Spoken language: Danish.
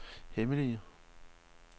hemmelige